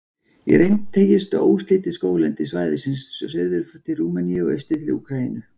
Í reynd teygist óslitið skóglendi svæðisins suður til Rúmeníu og austur til Úkraínu.